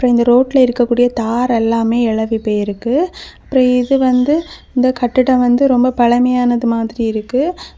அப்றோ இந்த ரோட்ல இருக்கக்கூடிய தார் எல்லாமே எழும்பி போய் இருக்கு அப்றோ இது வந்து இந்த கட்டிடம் வந்து ரொம்ப பழமையானது மாதிரி இருக்கு.